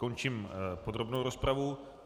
Končím podrobnou rozpravu.